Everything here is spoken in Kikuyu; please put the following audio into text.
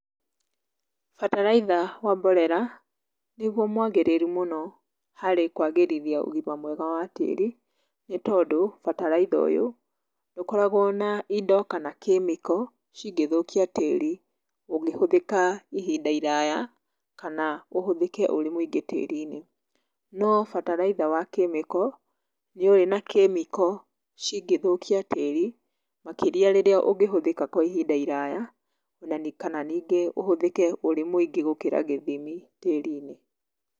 Bataraitha wa mborera, nĩguo mwagĩrĩru mũno harĩ kwagĩrithia ũgima mwega wa tĩri, nĩ tondũ, bataraitha ũyũ, ndũkoragwo na indo kana kĩmĩko cingĩthũkia tĩri, ũngĩhũthĩka ihinda iraya, kana ũhũthĩke ũrĩ mũingĩ tĩri-inĩ. No bataraitha wa kĩmĩko, nĩ ũrĩ na kĩmĩko cingĩthũkia tĩri, makĩria rĩrĩa ũngĩhũthĩka kwa ihinda iraya kana ningĩ ũhũthĩke ũrĩ mũingĩ gũkĩra gĩthimi tĩri-inĩ.